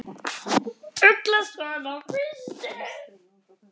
Ugla sat á kvisti.